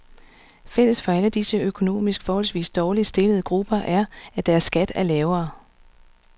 Fælles for alle disse økonomisk forholdsvis dårligt stillede grupper er, at deres skat er lavere.